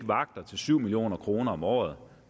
vagter til syv million kroner om året